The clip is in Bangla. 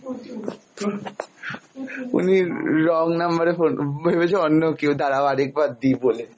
-noise উনি wrong number এ phone ভেবেছে অন্য কেউ, দাড়াও আর একবার দি বলে